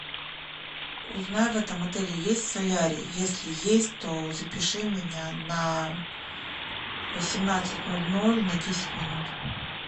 узнай в этом отеле есть солярий если есть то запиши меня на восемнадцать ноль ноль на десять минут